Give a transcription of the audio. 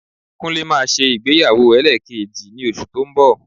Kúnlé máa ṣe ìgbéyàwó ẹlẹ́ẹ̀kejì ní oṣù tó ń bọ̀